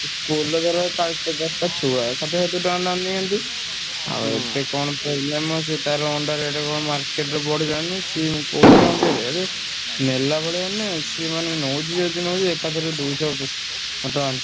School ରେ ଧର ଚାଳିଶି ପଚାଶଟା ଛୁଆ ଷାଠିଏ ସତୁରୀ ଟଙ୍କା ଲେଖା ନିଅନ୍ତି। ଆଉ ଏବେ କଣ ସେ ତାର ଅଣ୍ଡା rate କଣ market ରେ ବଢିଲାଣି ତ ସିଏ କହୁଛି ଆଉ ଟିକେ ନେଲା ଭଳିଆ ନୁହେଁ ସିଏ ମାନେ ନଉଚି ଯଦି ନଉଚି ଏକାଥରେ ଦୁଇଶହ ଟଙ୍କା,